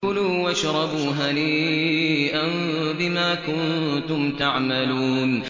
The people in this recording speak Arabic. كُلُوا وَاشْرَبُوا هَنِيئًا بِمَا كُنتُمْ تَعْمَلُونَ